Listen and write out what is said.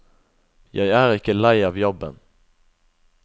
Jeg er ikke lei av jobben.